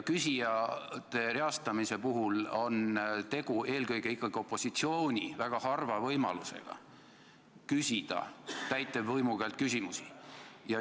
Küsijate reastamise puhul on tegu eelkõige ikkagi opositsiooni väga harva võimalusega küsida täitevvõimu käest küsimusi.